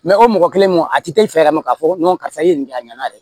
o mɔgɔ kelen mɔn a ti taa i fɛ yɛrɛ ma k'a fɔ karisa i ye nin kɛ a ɲɛna dɛ